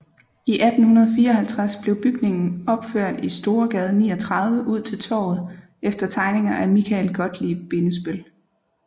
I 1854 blev bygningen opført i Storegade 39 ud til Torvet efter tegninger af Michael Gottlieb Bindesbøll